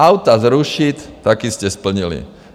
Auta zrušit - taky jste splnili.